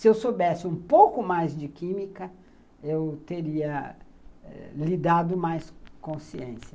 Se eu soubesse um pouco mais de química, eu teria eh lidado mais com ciência.